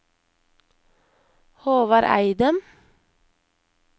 Håvard Eidem